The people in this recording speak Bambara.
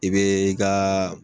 I bɛɛ i kaaa.